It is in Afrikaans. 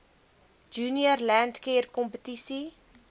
junior landcare kompetisie